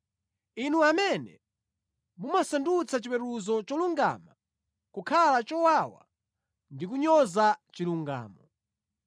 Inu amene mumasandutsa chiweruzo cholungama kukhala chowawa ndi kunyoza chilungamo.